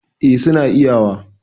eh suna iyawa